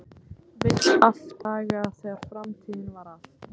Vill aftur þá daga þegar framtíðin var allt.